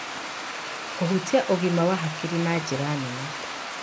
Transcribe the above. Kũhutia ũgima wa hakiri na njĩra nene.